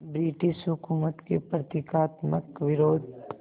British हुकूमत के प्रतीकात्मक विरोध